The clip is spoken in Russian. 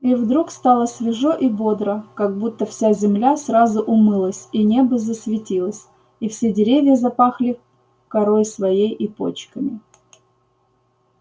и вдруг стало свежо и бодро как будто вся земля сразу умылась и небо засветилось и все деревья запахли корой своей и почками